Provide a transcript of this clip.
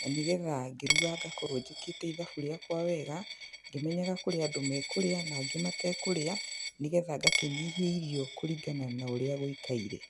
na nĩgetha ngĩruga ngakorwo njĩkĩte ithabu rĩakwa wega, ngĩmenyaga kũrĩ andũ mekũrĩa na angĩ matekũrĩa, nĩgetha ngakĩnyihia irio kũringana na ũrĩa gũikaire.